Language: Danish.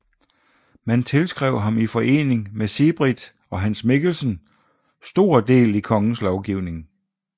Man tilskrev ham i forening med Sigbrit og Hans Mikkelsen stor del i kongens lovgivning